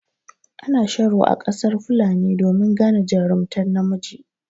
Ana sharo a ƙasar fulani domin gane jarumtar namiji.